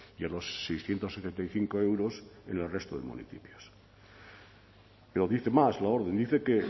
y a los seiscientos setenta y cinco euros en el resto de municipios pero dice más la orden dice que